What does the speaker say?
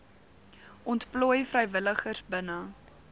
ontplooi vrywilligers binne